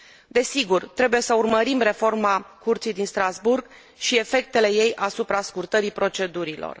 Desigur, trebuie să urmărim reforma Curții din Strasbourg și efectele ei asupra scurtării procedurilor.